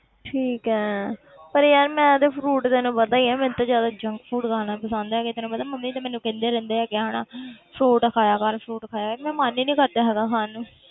ਠੀਕ ਹੈ ਪਰ ਯਾਰ ਮੈਂ ਤੇ fruit ਤੈਨੂੰ ਪਤਾ ਹੀ ਹੈ ਮੈਨੂੰ ਤੇ ਜ਼ਿਆਦਾ junk food ਖਾਣਾ ਪਸੰਦ ਹੈਗਾ ਤੈਨੂੰ ਪਤਾ ਮੰਮੀ ਤੇ ਮੈਨੂੰ ਕਹਿੰਦੇ ਰਹਿੰਦੇ ਹੈਗੇ ਆ ਹਨਾ fruit ਖਾਇਆ ਕਰ fruit ਖਾਇਆ ਕਰ ਮੇਰਾ ਮਨ ਹੀ ਨੀ ਕਰਦਾ ਹੈਗਾ ਖਾਣ ਨੂੰ।